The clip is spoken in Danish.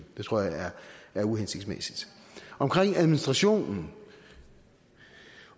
det tror jeg er uhensigtsmæssigt i administrationen